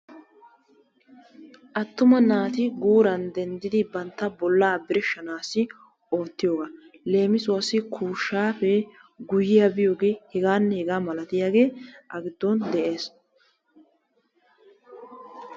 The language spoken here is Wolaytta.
Attuma naati guuran dendiddi bantta bollaa birshshanaassi oottiyogaa, leemissuwaassi kuushaappee, guyiyaa biyogee hegaanne hegaa malatiyagee a giddon de'ees.